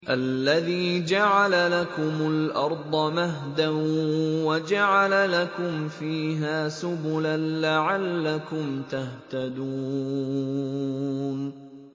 الَّذِي جَعَلَ لَكُمُ الْأَرْضَ مَهْدًا وَجَعَلَ لَكُمْ فِيهَا سُبُلًا لَّعَلَّكُمْ تَهْتَدُونَ